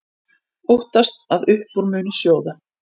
Óttast að upp úr muni sjóða